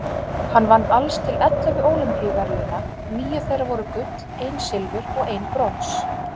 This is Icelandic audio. Hann vann alls til ellefu Ólympíuverðlauna, níu þeirra voru gull, ein silfur og ein brons.